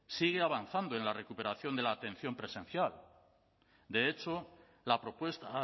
sigue avanzando en la recuperación de la atención presencial de hecho la propuesta